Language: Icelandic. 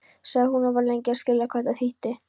sagði hún og var lengi að skilja hvað þetta þýddi.